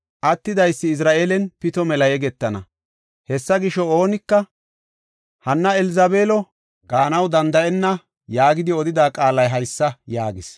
Attidaysi Izra7eelan pito mela yegetana. Hessa gisho oonika, “Hanna Elzabeelo” gaanaw danda7enna’ yaagidi odida qaalay haysa” yaagis.